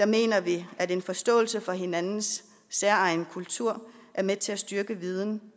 mener vi at en forståelse for hinandens særegne kulturer er med til at styrke viden